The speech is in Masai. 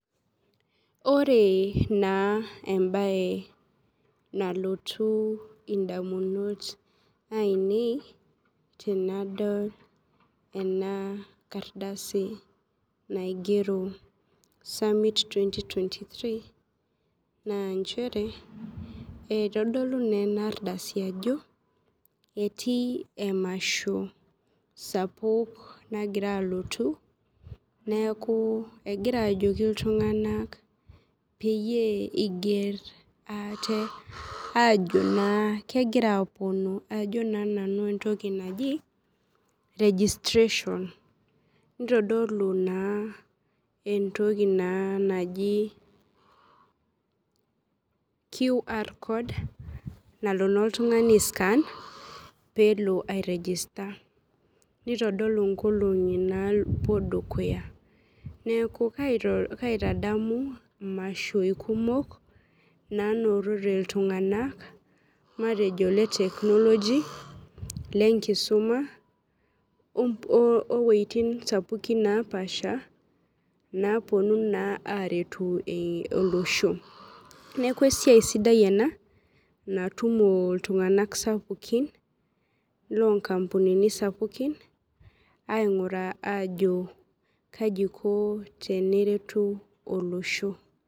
Ore na embae nalotu ondamunot ainei tenadol ena kardasi naigero summit twenty twenty three na nchere itodolu na enaardasi ajo etii emasho sapuk nagira alotu neakubegira ajoki ltunganak oeiger ate ajo kegira aponu ajo na nanu entoki naji registration entoki naji qr code nalo na oltungani aiscan pelo airegister dukuya neaku kaitadamu mashoi kumok nanotote ltunganak e technology kisuma owoitim sapuki napaasha naponu aretu olosho neaku esiai sidai ena natumo ltunganak sapukin lonkampunini sapukin ainguraa ajo kaiko peretu olosho